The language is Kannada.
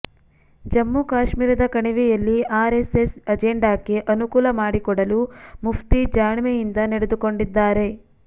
ಜಮ್ಮು ಕಾಶ್ಮೀರದ ಕಣಿವೆಯಲ್ಲಿ ಆರ್ ಎಸ್ ಎಸ್ ಅಜೆಂಡಾಕ್ಕೆ ಅನುಕೂಲ ಮಾಡಿಕೊಡಲು ಮುಫ್ತಿ ಜಾಣ್ಮೆಯಿಂದ ನಡೆದುಕೊಂಡಿದ್ದಾರೆ